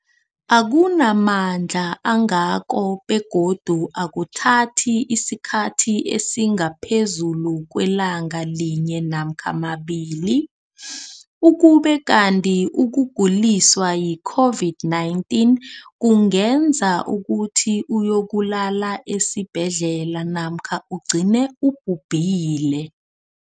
akuna mandla angako begodu akuthathi isikhathi esingaphezulu kwelanga linye namkha mabili, ukube kanti ukuguliswa yi-COVID-19 kungenza ukuthi uyokulala esibhedlela namkha ugcine ubhubhile.